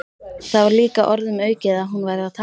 Það var líka orðum aukið að hún væri að tala.